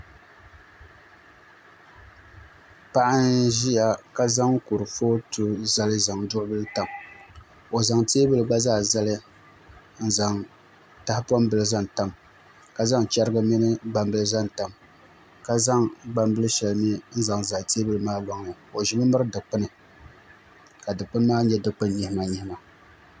Paɣa n ʒiya ka zaŋ kurifooti zali zaŋ duɣubili tam o zaŋ teebuli gba zaa zali n zaŋ tahapoŋ bili zaŋ tam ka zaŋ chɛrigi mini gbambili zaŋ tam ka zaŋ gbambili shɛli mii n zaŋ zali teebuli maa loŋni o ʒimi miri dilpuni ka dikpun maa nyɛ dikpuni nyihima nyihima